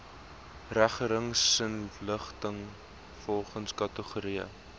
regeringsinligting volgens kategorie